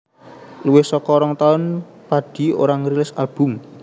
Luwih saka rong taun Padi ora ngrilis album